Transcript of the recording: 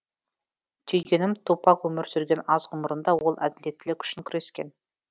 түйгенім тупак өмір сүрген аз ғұмырында ол әділеттілік үшін күрескен